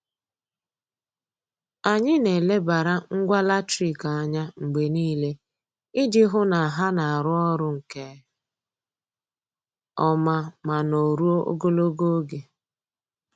Anyị na-elebara ngwa latrik anya mgbe niile iji hụ na ha na-arụ ọrụ nke ọma ma nọruo ogologo oge.